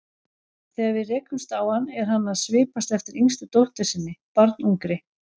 Þegar við rekumst á hann er hann að svipast eftir yngstu dóttur sinni, barnungri.